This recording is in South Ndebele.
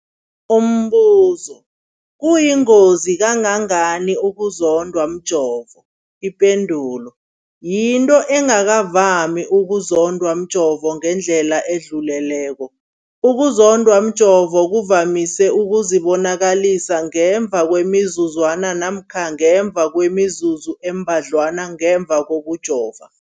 Umbuzo, kuyingozi kangangani ukuzondwa mjovo? Ipendulo, yinto engakavami ukuzondwa mjovo ngendlela edluleleko. Ukuzondwa mjovo kuvamise ukuzibonakalisa ngemva kwemizuzwana namkha ngemva kwemizuzu embadlwana ngemva kokujova.